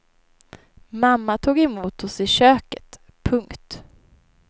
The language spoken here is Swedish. Mamma tog emot oss i köket. punkt